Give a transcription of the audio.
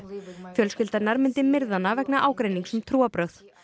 fjölskylda hennar myndi myrða hana vegna ágreinings um trúarbrögð